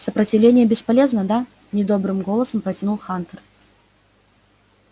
сопротивление бесполезно да недобрым голосом протянул хантер